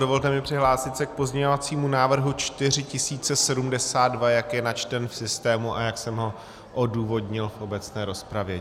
Dovolte mi přihlásit se k pozměňovacímu návrhu 4072, jak je načten v systému a jak jsem ho odůvodnil v obecné rozpravě.